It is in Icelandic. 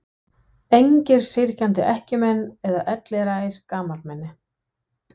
Engir syrgjandi ekkjumenn eða elliær gamalmenni.